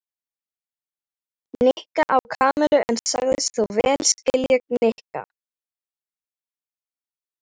Nikka á Kamillu en sagðist þó vel skilja Nikka.